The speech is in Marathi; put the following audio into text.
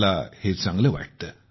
मला हे चांगले वाटते